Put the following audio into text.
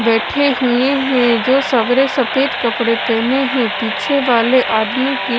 बैठे हुए हैं जो सेवरे सफेद कपड़े पहने हैं पीछे वाले आदमी की--